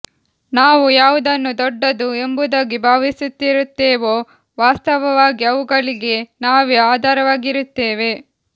ನಾವು ಯಾವುದನ್ನು ದೊಡ್ಡದು ಎಂಬುದಾಗಿ ಭಾವಿಸಿರುತ್ತೇವೋ ವಾಸ್ತವವಾಗಿ ಅವುಗಳಿಗೆ ನಾವೇ ಆಧಾರವಾಗಿರುತ್ತೇವೆ